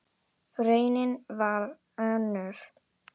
Raunin varð önnur.